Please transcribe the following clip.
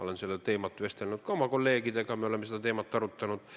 Olen sellel teemal vestelnud ka oma kolleegidega, me oleme seda teemat arutanud.